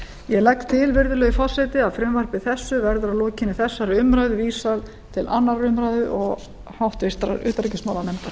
ég legg til virðulegi forseti að frumvarpi þessu verði að lokinni þessari umræðu vísað til annarrar umræðu og háttvirtrar utanríkismálanefndar